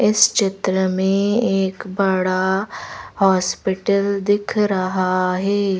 इस चित्र में एक बडा हॉस्पिटल दिख रहा है।